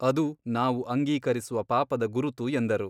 ಅದು ನಾವು ಅಂಗೀಕರಿಸುವ ಪಾಪದ ಗುರುತು ಎಂದರು.